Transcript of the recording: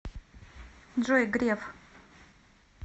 джой греф